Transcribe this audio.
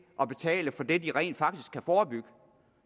at betale for det de rent faktisk kan forebygge